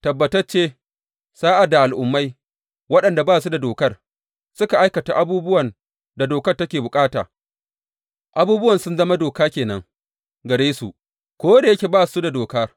Tabbatacce, sa’ad da Al’ummai, waɗanda ba su da dokar, suka aikata abubuwan da dokar take bukata, abubuwan sun zama doka ke nan gare su, ko da yake ba su da dokar.